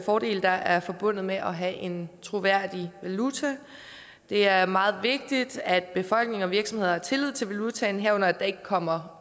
fordele der er forbundet med at have en troværdig valuta det er meget vigtigt at befolkninger og virksomheder har tillid til valutaen herunder at der ikke kommer